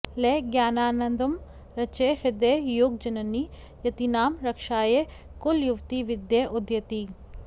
लयज्ञानानन्दं रचय हृदये योगजननि यतीनां रक्षायै कुलयुवति विद्ये उदयति